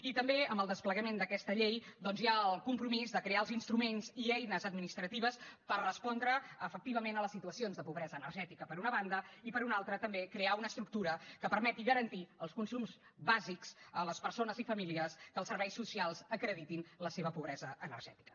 i també amb el desplegament d’aquesta llei doncs hi ha el compromís de crear els instruments i eines administratives per respondre efectivament a les situacions de pobresa energètica per una banda i per una altra també crear una estructura que permeti garantir els consums bàsics a les persones i famílies que els serveis socials acreditin la seva pobresa energètica